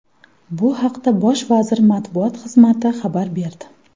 Bu haqda Bosh vazir matbuot xizmati xabar berdi .